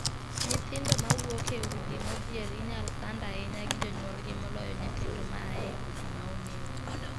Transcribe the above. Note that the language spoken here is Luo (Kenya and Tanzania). Nyithindo ma wuok e udi modhier inyal sand ahinya gi jonyuolgi moloyo nyithindo ma aa e udi ma omeo.